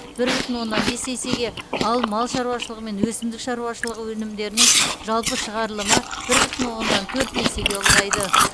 бір бүтін оннан бес есеге ал мал шаруашылығы мен өсімдік шаруашылығы өнімдерінің жалпы шығарылымы бір бүтін оннан төрт есеге ұлғайды